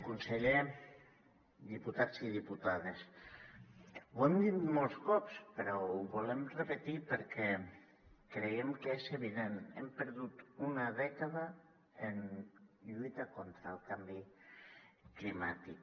conseller diputats i diputades ho hem dit molts cops però ho volem repetir perquè creiem que és evident hem perdut una dècada en lluita contra el canvi climàtic